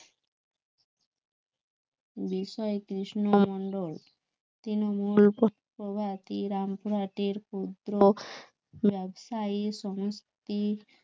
বিষয়ে কৃষ্ণ মন্ডল তৃণমূল প্রভাতী রামপুরহাটের পুত্র ব্যবসায়ী সমষ্টির